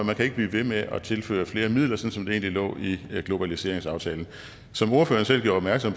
man kan ikke blive ved med at tilføre flere midler sådan det lå i globaliseringsaftalen som ordføreren selv gjorde opmærksom